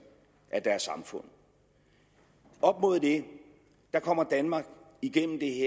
af deres samfund op mod det kommer danmark igennem det